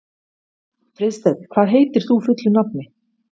Friðsteinn, hvað heitir þú fullu nafni?